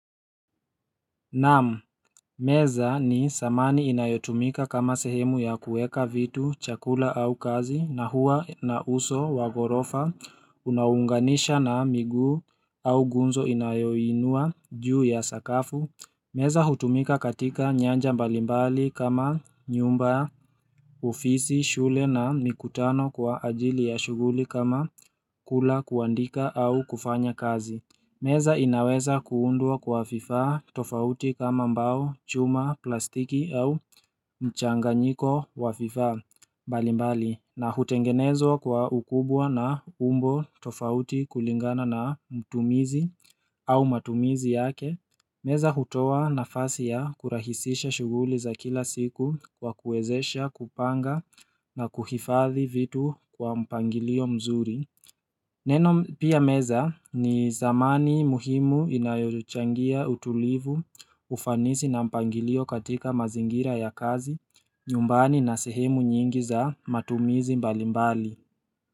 Naam, meza ni samani inayotumika kama sehemu ya kuweka vitu, chakula au kazi, na huwa na uso wa ghorofa, unaunganisha na miguu au gunzo inayoinua juu ya sakafu. Meza hutumika katika nyanja mbalimbali kama nyumba, ofisi, shule na mikutano kwa ajili ya shughuli kama kula kuandika au kufanya kazi. Meza inaweza kuundwa kwa vifaa tofauti kama mbao, chuma, plastiki au mchanganyiko wa vifaa mbalimbali na hutengenezwa kwa ukubwa na umbo tofauti kulingana na mtumizi au matumizi yake. Meza hutoa nafasi ya kurahisisha shughuli za kila siku kwa kuwezesha kupanga na kuhifadhi vitu kwa mpangilio mzuri. Neno pia meza, ni samani muhimu inayochangia utulivu, ufanisi na mpangilio katika mazingira ya kazi, nyumbani na sehemu nyingi za matumizi mbali mbali.